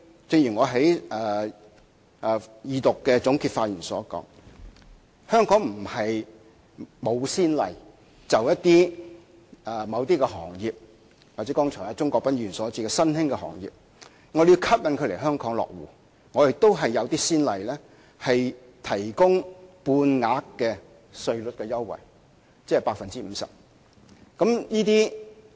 正如我在二讀辯論的總結發言中指出，過去香港並非沒有先例，就着某些行業，又或是剛才鍾國斌議員提到的新興行業，我們為了要吸引它們來香港落戶，亦有提供半額稅率優惠的先例。